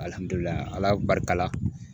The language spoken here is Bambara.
Ala barika la